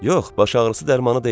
Yox, baş ağrısı dərmanı deyil.